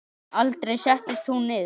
Aldrei settist hún niður.